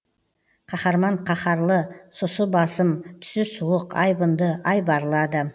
қаһарман қаһарлы сұсы басым түсі суық айбынды айбарлы адам